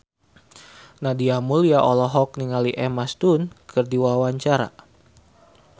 Nadia Mulya olohok ningali Emma Stone keur diwawancara